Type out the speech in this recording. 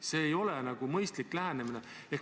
See ei ole mõistlik lähenemine.